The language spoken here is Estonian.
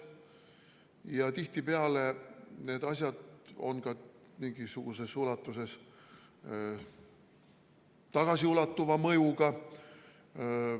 Ja tihtipeale on need asjad mingisuguses ulatuses tagasiulatuva mõjuga.